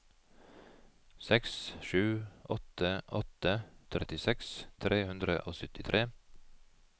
seks sju åtte åtte trettiseks tre hundre og syttitre